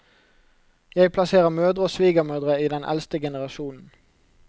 Jeg plasserer mødre og svigermødre i den eldste generasjonen.